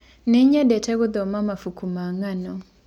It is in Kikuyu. Nĩnyendete gũthoma nabũkũ ma ngano.